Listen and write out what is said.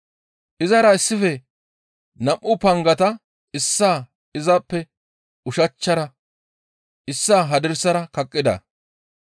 Izara issife nam7u pangata issaa izappe ushachchara issaa hadirsara kaqqida.